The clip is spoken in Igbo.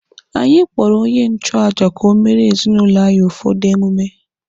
Anyị kpọrọ onye nchụaja ka o meere ezinụlọ anyị ụfọdụ emume.